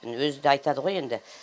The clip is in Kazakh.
өзі де айтады ғой енді